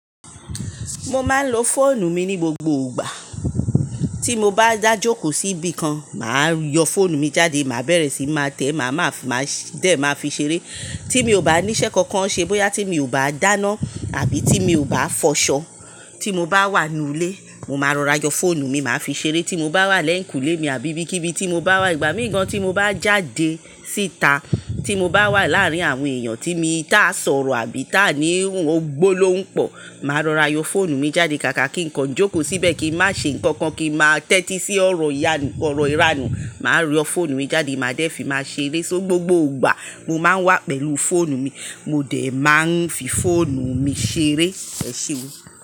Mo máa ń lo fóònù mi ní gbogbo ìgbà. Tí mo bá dájókòó síbi kan, mà á yọ fóònù mi jáde, màá bẹ̀rẹ̀ síí máa tẹ̀ ẹ́, màá fi máa dé máa fi ṣeré. Tí mi ò bá ní iṣẹ́ kankan ṣe, bóyá tí mi ò bá dáná àbí tí mi ò bá fọṣọ. Tí mo bá wà nínú ilé, mo máa rọra yọ fóònù mi, màá fi ṣeré. Tí mo bá wà lẹ́yìnkùlé mi àbí bíi kíbi tí mo bá wà, ìgbà míì gan tí mo bá jáde síta, tí mo bá wà láàárín àwọn èèyàn tí mo tá a sọ̀rọ̀ àbí tá a ní ohun gbólóhùn pọ̀, màá rọra yọ fóònù mi jáde káàkà kí nǹkan jókòó síbẹ̀ kí n má ṣe nǹkan kan, kí n má tẹ́tí sí ọ̀rọ̀ ìyanu, ọ̀rọ̀ ìranù, màá yọ fóònù mi jáde, màá dé fi máa ṣeré. So gbogbo ìgbà, mo máa ń wà pẹ̀lú fóònù mi, mo dèé máa ń fi fóònù mi ṣeré. Ẹ ṣé o.